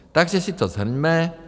Takže si to shrňme.